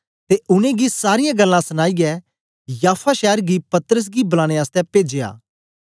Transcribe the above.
ते उनेंगी सारीयां गल्लां सनाईयै याफा शैर गी पतरस गी बलाने आसतै पेजया